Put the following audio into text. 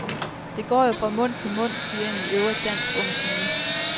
Det går jo fra mund til mund, siger en i øvrigt dansk ung pige.